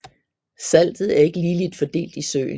Saltet er ikke ligeligt fordelt i søen